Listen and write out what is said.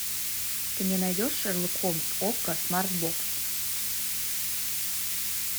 ты мне найдешь шерлок холмс окко смарт бокс